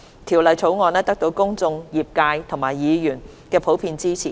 《條例草案》得到公眾、業界和議員的普遍支持。